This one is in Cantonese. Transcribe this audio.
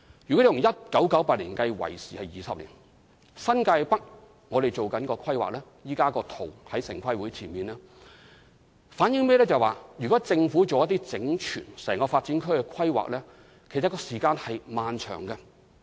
由1998年至今已20年，而新界北正進行規劃，現時大綱圖已提交城市規劃委員會，這反映如果政府就整個發展區作出整全的規劃，時間可以很漫長。